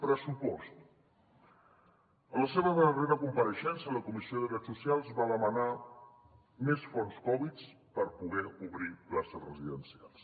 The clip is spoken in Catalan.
pres·supost a la seva darrera compareixença a la comissió de drets socials va demanar més fons covid per poder obrir places residencials